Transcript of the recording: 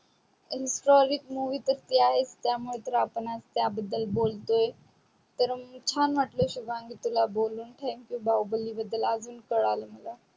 in solid movie तर ती आहेच त्या मुळे तर आपण आज त्या बदल बोलतोय तर छान वाटल शुभांगी तुला बोलून thank you बाहुबली बदल अजून कळाल मला